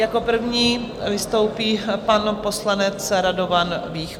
Jako první vystoupí pan poslanec Radovan Vích.